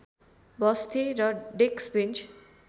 बस्थे र डेस्कबेन्च